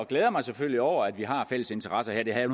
glæder mig selvfølgelig over at vi har fælles interesser her jeg